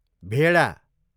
भेडा